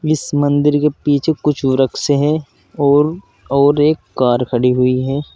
इस मंदिर के पीछे कुछ वृक्ष हैं और और एक कार खड़ी हुई है।